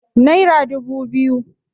naira dubu biyu